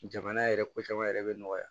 Jamana yɛrɛ ko caman yɛrɛ be nɔgɔya